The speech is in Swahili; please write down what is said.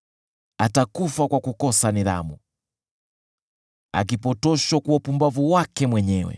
Atakufa kwa kukosa nidhamu, akipotoshwa kwa upumbavu wake mwenyewe.